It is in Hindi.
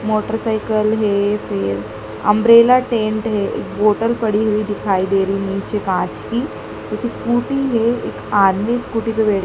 मोटरसाइकल है फिर अंब्रेला टेंट है एक बोतल पड़ी हुई दिखाई दे रही नीचे कांच की। स्कूटी है एक आदमी स्कूटी बे